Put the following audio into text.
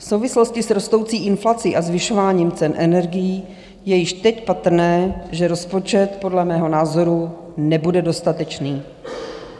V souvislosti s rostoucí inflací a zvyšováním cen energií je již teď patrné, že rozpočet podle mého názoru nebude dostatečný.